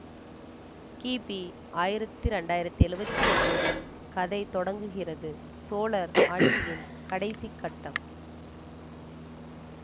கிபி ஆயிரத்தி ரெண்டாயிரத்தி எழுவத்தி ஒம்போதில் கதை தொடங்குகிறது சோழர் ஆட்சியின் கடைசி கட்டம்